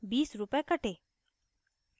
20 रूपए कटे